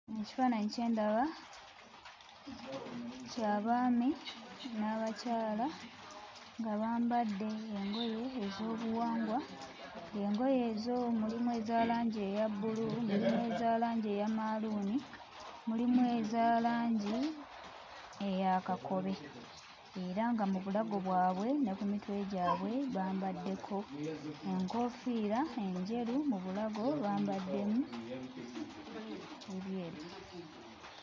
Ekifaananyi kye ndaba kya baami n'abakyala nga bambadde engoye ez'obuwangwa, ng'engoye ezo mulimu eza langi eya bbululu, mulimu eza langi eya maaluuni, mulimu eza langi eya kakobe era nga mu bulago bwabwe ne ku mitwe gyabwe bambaddeko enkoofiira enjeru, mu bulago bambaddemu ebyeru.